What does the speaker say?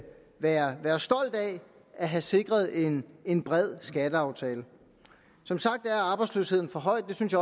at have sikret en en bred skatteaftale som sagt er arbejdsløsheden for høj det synes